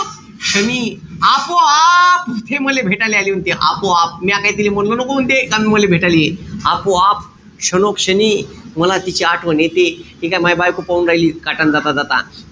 क्षणी. आपोआप ते मले भेटाले आली म्हणते. आपोआप म्या काई म्हणलो नको म्हणते का मले भेटाले ये. आपोआप, क्षणोक्षणी मला तिची आठवण येते. ठीकेय? मई बायको पाहू राली काठान जाता-जाता.